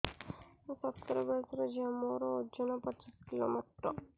ମୁଁ ସତର ବୟସର ଝିଅ ମୋର ଓଜନ ପଚିଶି କିଲୋ ମାତ୍ର